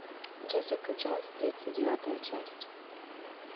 джессика джонс тридцать девятая часть